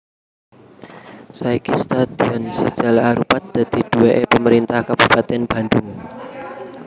Saiki stadion si jalak harupat dadi duwèké Pemerintah Kabupatèn Bandhung